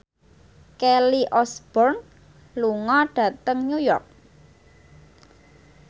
Kelly Osbourne lunga dhateng New York